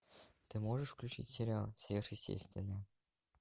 ты можешь включить сериал сверхъестественное